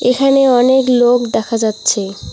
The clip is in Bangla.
এখানে অনেক লোক দেখা যাচ্ছে।